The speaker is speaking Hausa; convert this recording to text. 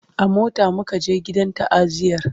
a mota muka je gidan ta'aziyar